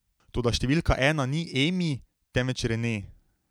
Toda številka ena ni Emi, temveč Rene.